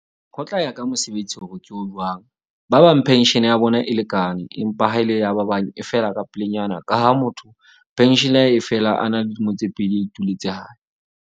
Ho tla ya ka mosebetsi hore ke o jwang. Ba bang pension ya bona e lekane, empa ha e le ya ba bang e fela ka pelenyana. Ka ha motho pension ya ha e fela a na le dilemo tse pedi a ituletse hae.